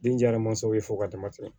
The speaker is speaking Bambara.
Den jara mansaw ye fo ka dama tɛmɛ